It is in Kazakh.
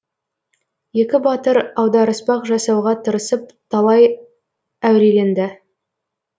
екі батыр аударыспақ жасауға тырысып талай әуреленді